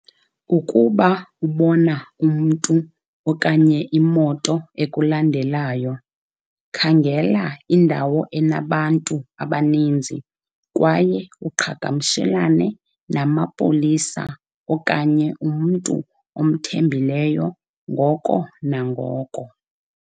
Ukuba ubona umntu okanye imoto ekulandelayo, khangela indawo enabantu abaninzi kwaye uqhagamshelane namapolisa okanye umntu omthembileyo ngoko nangoko.